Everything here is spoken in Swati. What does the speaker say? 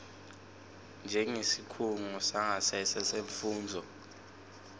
njengesikhungo sangasese semfundvo